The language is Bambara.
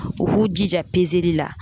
u k'u jija li la